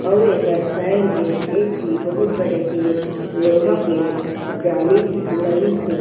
अउ एकर साइड में एक ठी बहुत बड़े के लोहा के जाली लगीस हे।